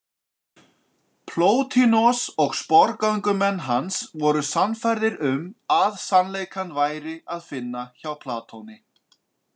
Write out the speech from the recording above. Plótinos og sporgöngumenn hans voru sannfærðir um sannleikann væri að finna hjá Platoni.